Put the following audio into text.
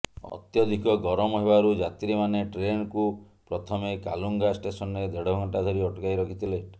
ଅତ୍ୟଧିକ ଗରମ ହେବାରୁ ଯାତ୍ରୀମାନେ ଟ୍ରେନ୍କୁ ପ୍ରଥମେ କାଲୁଙ୍ଗା ଷ୍ଟେସନରେ ଦେଢ଼ ଘଣ୍ଟା ଧରି ଅଟକାଇ ରଖିଥିଲେ